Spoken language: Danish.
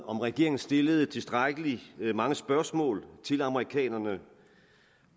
om regeringen stillede tilstrækkelig mange spørgsmål til amerikanerne